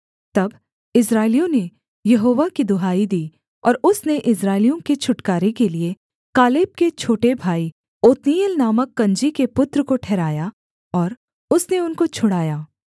तब इस्राएलियों ने यहोवा की दुहाई दी और उसने इस्राएलियों के छुटकारे के लिये कालेब के छोटे भाई ओत्नीएल नामक कनजी के पुत्र को ठहराया और उसने उनको छुड़ाया